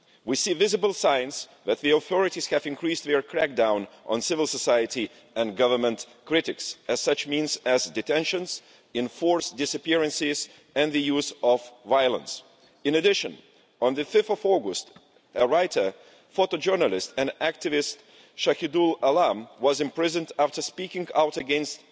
We see visible signs that the authorities have increased their crackdown on civil society and government critics, with such means as detentions, enforced disappearances and the use of violence. In addition, on 5 August, writer, former journalist and activist Shahidul Alam was imprisoned after speaking out against